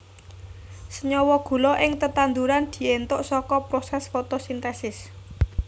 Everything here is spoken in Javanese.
Senyawa gula ing tetanduran diéntuk saka prosès fotosintesis